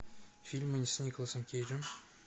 фильмы с николасом кейджем